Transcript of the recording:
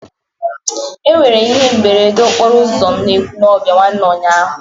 E nwere ihe mberede okporo ụzọ n'Ekwulọbịa nwanne ụnyaahụ.